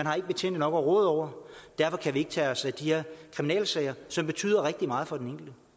har ikke betjente nok at råde over og derfor kan de ikke tage sig af de her kriminalsager som betyder rigtig meget for den